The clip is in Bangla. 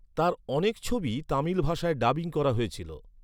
তাঁর অনেক ছবিই তামিল ভাষায় ডাবিং করা হয়েছিল।